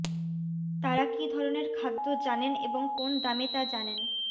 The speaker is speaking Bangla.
তারা কি ধরণের খাদ্য জানেন এবং কোন দামে তা জানেন